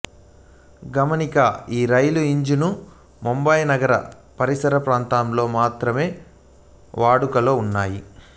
గమనికఈ రైలుఇంజన్లు ముంబాయి నగర పరిసరప్రాంతాలలో మాత్రమే వాడుకలో ఉన్నాయి